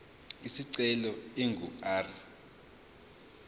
isicelo ingu r